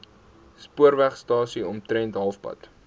spoorwegstasie omtrent halfpad